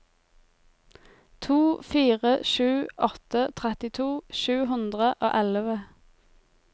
to fire sju åtte trettito sju hundre og elleve